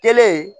Kelen